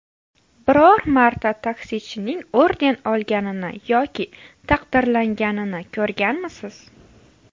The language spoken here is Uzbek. Biror marta taksichining orden olganini yoki taqdirlanganini ko‘rganmisiz?